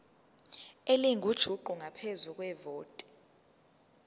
elingujuqu ngaphezu kwevoti